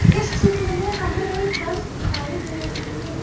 इस चित्र में हमें एक बस दिखाई दे रही है।